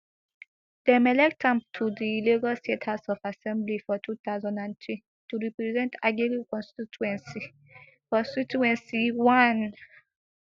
dem elect am to di lagos state house of assembly for two thousand and three to represent agege constituency constituency one